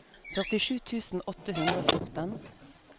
førtisju tusen åtte hundre og fjorten